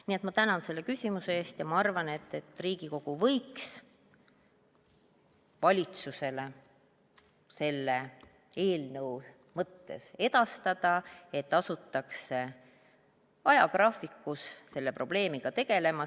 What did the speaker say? Nii et ma tänan selle küsimuse eest ja ma arvan, et Riigikogu võiks valitsusele selle eelnõu edastada, et asutakse ajagraafikus selle probleemiga tegelema.